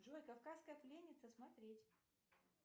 джой кавказская пленница смотреть